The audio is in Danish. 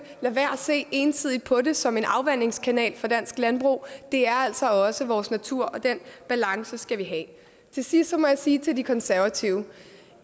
se ensidigt på det som en afvandingskanal for dansk landbrug det er altså også vores natur og den balance skal vi have til sidst må jeg sige til de konservative